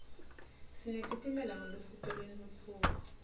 sinetitimela ngelusito lentfutfuko